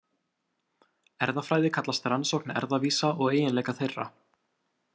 Erfðafræði kallast rannsókn erfðavísa og eiginleika þeirra.